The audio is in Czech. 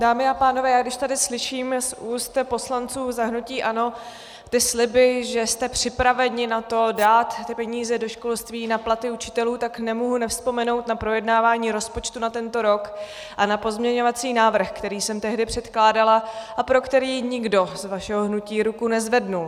Dámy a pánové, když tady slyším z úst poslanců za hnutí ANO ty sliby, že jste připraveni na to dát ty peníze do školství, na platy učitelů, tak nemohu nevzpomenout na projednávání rozpočtu na tento rok a na pozměňovací návrh, který jsem tehdy předkládala a pro který nikdo z vašeho hnutí ruku nezvedl.